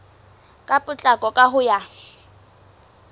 ka potlako ka ho ya